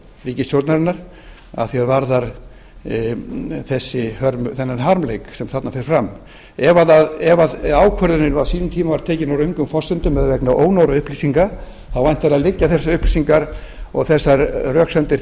ríkisstjórnarinnar að því er varðar þennan harmleik sem þarna fer fram ef ákvörðunin á sínum tíma var tekin á röngum forsendum eða vegna ónógra upplýsinga þá væntanlega liggja þessar upplýsingar og þessar röksemdir